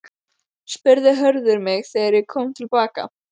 spurði Hörður mig þegar ég kom til baka.